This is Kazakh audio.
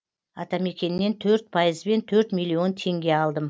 атамекеннен төрт пайызбен төрт миллион теңге алдым